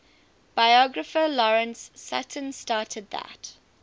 biographer lawrence sutin stated that